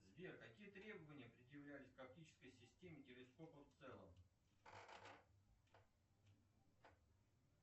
сбер какие требования предъявлялись к оптической системе телескопа в целом